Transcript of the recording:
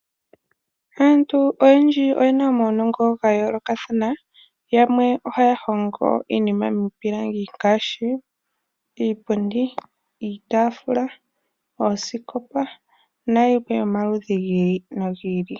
Aanru oyendji oyena omaunongo ga yoolokathana, yamwe ohaya hongo iinima miipilangi ngaashi iipundi, iitafula, oosikopa nayilwe yomaludhi gi ili nogi ili.